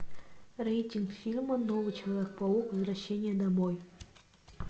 рейтинг фильма новый человек паук возвращение домой